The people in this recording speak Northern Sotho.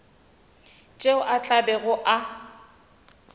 tšeo a tla bego a